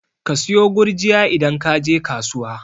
Ka sayo gurjiya idan kaje kasuwa